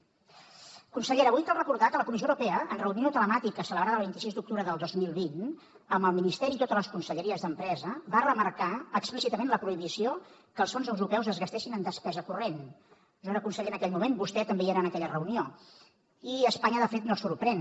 consellera avui cal recordar que la comissió europea en reunió telemàtica celebrada el vint sis d’octubre del dos mil vint amb el ministeri i totes les conselleries d’empresa va remarcar explícitament la prohibició que els fons europeus es gastessin en despesa corrent jo era conseller en aquell moment vostè també hi era en aquella reunió i espanya de fet no sorprèn